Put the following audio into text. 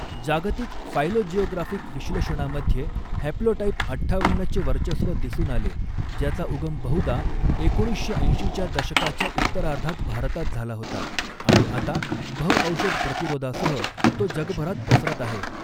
जागतिक फायलोजिओग्राफिक विश्लेषणामध्ये हॅप्लोटाइप अठ्ठावन्नचे वर्चस्व दिसून आले, ज्याचा उगम बहुधा एकोणीसशे ऐंशीच्या दशकाच्या उत्तरार्धात भारतात झाला होता आणि आता बहु औषध प्रतिरोधासह तो जगभरात पसरत आहे.